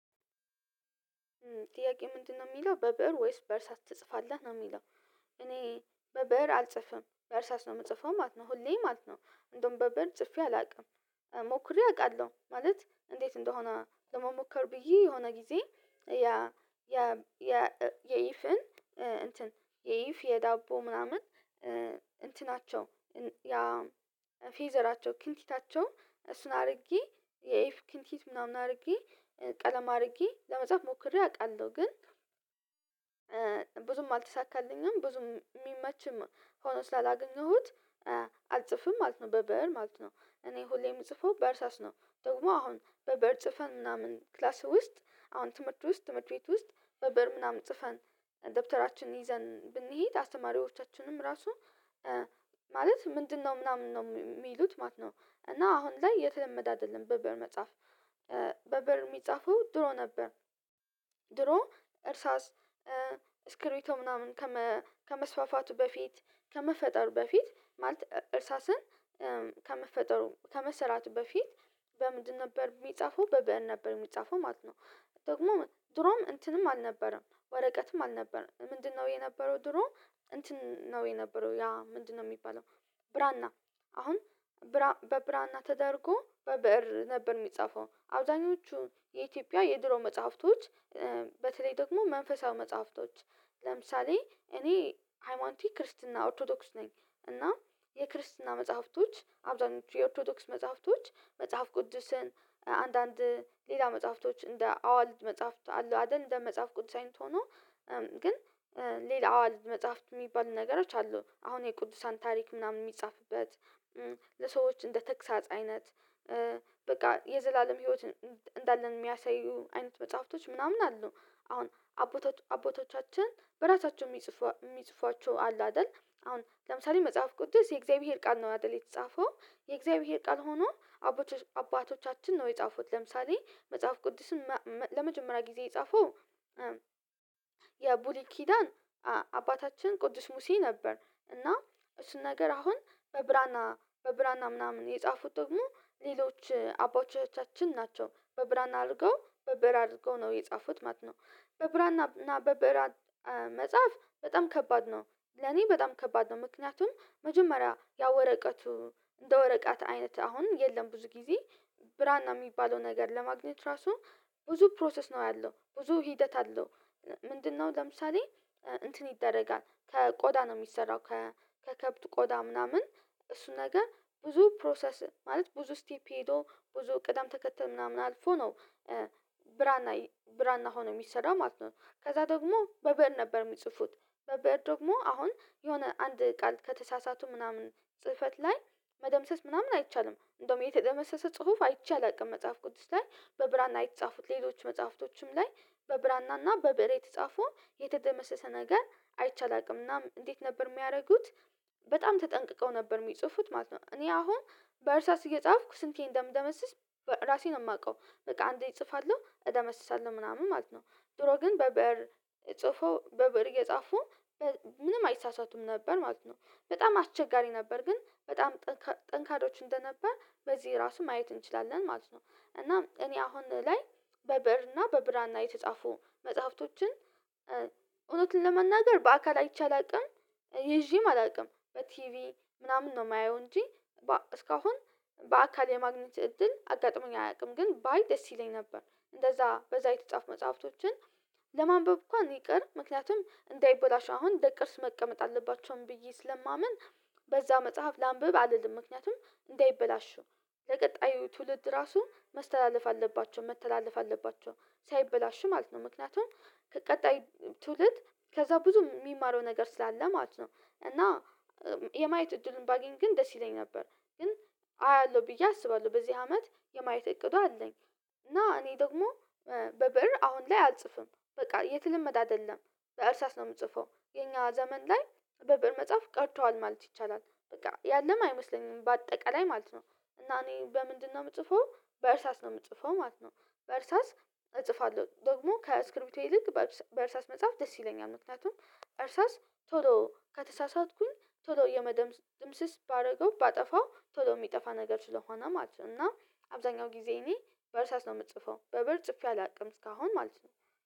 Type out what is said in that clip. ጥያቄው ምንድነው የሚለው በብእር ወይስ በእርሳስ ትጽፋለህ ነው የሚለው? እኔ በብእር አልጽፍም በእርሳስ ነው የምጽፈው ማለት ነው ሁሌ ማለት ነው። እንደውም በብእር ጽፌ አላውቅም። ሞክሬ አውቃለሁ ማለት እንዴት እንደሆነ ለመሞከር ብዬ የሆነ ጊዜ ያ ያ ያ የኤቭን እንትን የይፍ የዳቦ ምናምን። እንትናቸው ያ ፌቨራቸው ክንቲታቸው እሱን አድርጌ የኤፍ ክንቲት ምናምን አድርጌ ቀለም አድርጌ ለመጽሐፍ ሞክሬ አውቃለሁ ግን ብዙም አልተሳካልኝም። ብዙም የሚመችም ሆኖ ስላላገኘሁት አልጽፍም ማለት ነው። በብእር ማለት ነው እኔ ሁሌ የምጽፈው በእርሳስ ነው። ደግሞ አሁን በብእር ጽፈን ምናምን ክላስ ውስጥ አሁን ትምህርት ውስጥ ትምህርት ቤት ውስጥ በብእር ምናምን ጽፈን ደብተራችንን ይዘን ብንሄድ አስተማሪዎቻችንም ራሱ ማለት ምንድነው ምናምን ነው የሚሉት ማለት ነው። እና አሁን ላይ የተለመደ አይደለም በብእር መጽሐፍ በብእር የሚጻፈው ድሮ ነበር። ድሮ እርሳስ ስክብሪቶ ምናምን ከመስፋፋቱ በፊት ከመፈጠሩ በፊት ማለት እርሳስን ከመፈጠሩ ከመሰራቱ በፊት በምንድን ነበር የሚጻፈው በብእር ነበር የሚጻፈው ማለት ነው። ደግሞ ድሮም እንትንም አልነበረም ወረቀትም አልነበረም ምንድነው የነበረው ድሮ እንትን ነው የነበረው ያ ምንድነው የሚባለው? ብራና አሁን በብራና ተደርጎ በብእር ነበር የሚጻፈው አብዛኞቹ የኢትዮጵያ የድሮ መጽሐፍቶች። በተለይ ደግሞ መንፈሳዊ መጽሐፍቶች ለምሳሌ እኔ ሃይማኖቴ ክርስትና ኦርቶዶክስ ነኝ። እና የክርስትና መጽሐፍቶች አብዛኞቹ የኦርቶዶክስ መጽሐፍቶች መጽሐፍ ቅዱስን አንዳንድ ሌላ መጽሐፍቶች እንደ አዋልድ መጽሐፍት አሉ አይደል እንደ መጽሐፍ ቅዱስ አይነት ሆኖ ግን ሌላ አዋልድ መጽሐፍት የሚባል ነገሮች አሉ። አሁን የቅዱሳን ታሪክ ምናምን የሚጻፍበት ለሰዎች እንደ ተግሳጽ አይነት በቃ የዘላለም ህይወት እንዳለን የሚያሳዩ አይነት መጽሐፍቶች ምናምን አሉ። አሁን አባቶቻችን በራሳቸው የሚጽፏቸው አሉ። አይደል አሁን ለምሳሌ መጽሐፍ ቅዱስ የእግዚአብሔር ቃል ነው አይደል የተጻፈው የእግዚአብሔር ቃል ሆኖ። አባቶቻችን ነው የጻፉት ለምሳሌ መጽሐፍ ቅዱስን ለመጀመሪያ ጊዜ የጻፈው በብሉይ ኪዳን አባታችን ቅዱስ ሙሴ ነበር። እና እሱን ነገር አሁን በብራና በብራና ምናምን የጻፉት ደግሞ ሌሎች አባቶቻችን ናቸው በብራና አድርገው በብእር አድርገው ነው የጻፉት ማለት ነው። በብራና እና በብራና መጽሐፍ በጣም ከባድ ነው ለኔ በጣም ከባድ ነው። ምክንያቱም መጀመሪያ ያ ወረቀቱ እንደ ወረቃት አይነት አሁን የለም ብዙ ጊዜ ብራና የሚባለው ነገር ለማግኘት ራሱ ብዙ ፕሮሰስ ነው ያለው ብዙ ሂደት አለው። ምንድነው ለምሳሌ እንትን ይደረጋል ከቆዳ ነው የሚሰራው ከከብት ቆዳ ምናምን እሱ ነገር ብዙ ፕሮሰስ ማለት ብዙ ስቴፒ ሄዶ ብዙ ቅደም ተከተል ምናምን አልፎ ነው። ብራና ብራና ሆኖ የሚሰራ ማለት ነው ከዛ ደግሞ በብእር ነበር የሚጽፉት። በብእር ደግሞ አሁን የሆነ አንድ ቃል ከተሳሳቱ ምናምን ጽህፈት ላይ መደምሰስ ምናምን አይቻልም እንደውም የተደመሰሰ ጽሁፍ አይቼ አላውቅም መጽሐፍ ቅዱስ ላይ በብራና የተጻፉት ሌሎች መጽሐፍቶችም ላይ በብራና እና በበሬ የተጻፉ የተደመሰሰ ነገር አይቼ አላቅም። እናም እንዴት ነበር የሚያደርጉት በጣም ተጠንቅቀው ነበር የሚጽፉት ማለት ነው እኔ አሁን በእርሳስ እየጻፍኩ ስንቴ እንደምደመስስ ራሴ ነው የማውቀው በቃ አንዴ እጽፋለሁ እደመስሳለሁ ምናምን ማለት ነው። ድሮ ግን በብእር ሲጽፉ በብእር እየጻፉ ምንም አይሳሳቱም ነበር ማለት ነው። በጣም አስቸጋሪ ነበር ግን በጣም ጠንካሮች እንደነበር በዚህ ራሱ ማየት እንችላለን ማለት ነው። እናም እኔ አሁን ላይ በብእር እና በብራና የተጻፉ መጽሐፍቶችን እውነቱን ለመናገር በአካል አይቼ አላውቅም። ይዤም አላውቅም በቲቪ ምናምን ነው የማየው እንጂ እስካሁን በአካል የማግኘት እድል አጋጥሞኝ አያውቅም። ግን ባይ ደስ ይለኝ ነበር እንደዛ በዛ የተጻፈ መጽሐፍቶችን ለማንበብ እንኳን ይቅር ምክንያቱም እንዳይበላሽ አሁን ለቅርስ መቀመጥ አለባቸውም ብዬ ስለማምን። በዛ መጽሐፍ ላንብብ አልልም ምክንያቱም እንዳይበላሹ ለቀጣዩ ትውልድ ራሱ መስተላለፍ አለባቸው መተላለፍ አለባቸው ሳይበላሽ ማለት ነው። ምክንያቱም ከቀጣይ ትውልድ ከዛ ብዙ የሚማረው ነገር ስላለ ማለት ነው። እና የማየት እድሉን ባገኝ ግን ደስ ይለኝ ነበር ግን አያለሁ ብዬ አስባለሁ በዚህ አመት የማየት እቅዱ አለኝ። እና እኔ ደግሞ በብእር አሁን ላይ አልጽፍም በቃ የተለመደ አይደለም በእርሳስ ነው የምጽፈው የኛ ዘመን ላይ በብእር መጽሐፍ ቀርቷል ማለት ይቻላል በቃ ያለም አይመስለኝም በአጠቃላይ ማለት ነው። እና እኔ በምንድነው የምጽፈው በእርሳስ ነው የምጽፈው ማለት ነው። በእርሳስ እጽፋለሁ ደግሞ ከእስብሪቶ ይልቅ በእርሳስ መጽሐፍ ደስ ይለኛል ምክንያቱም እርሳስ ቶሎ ከተሳሳትኩኝ ቶሎ የመደምስ ድምስስ ባደረገው ባጠፋው ቶሎ የሚጠፋ ነገር ስለሆነ ማለት ነው። እና አብዛኛው ጊዜ እኔ በእርሳስ ነው የምጽፈው በብእር ጽፌ አላውቅም እስካሁን ማለት ነው።